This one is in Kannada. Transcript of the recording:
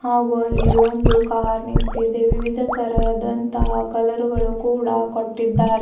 ಹಾಗೂ ಅಲ್ಲಿ ಒಂದು ಕಾರ್ ನಿಂತಿದೆ ವಿವಿಧ ತರಹದಂತಹ ಕಲರ್ ಗಳು ಕೂಡ ಕೊಟ್ಟಿದ್ದಾರೆ.